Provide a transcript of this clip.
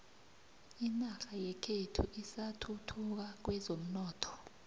inorha yekhethu isathuthuka kwezomnotho